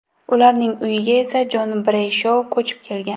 Ularning uyiga esa Jon Breyshou ko‘chib kelgan.